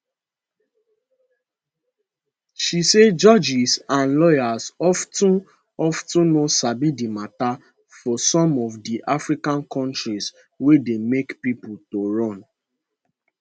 she say judges and lawyers of ten of ten no sabi di mata for some of di african kontris wey dey make pipo to run